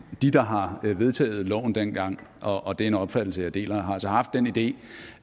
de der har vedtaget loven dengang og og det er en opfattelse jeg deler har altså haft den idé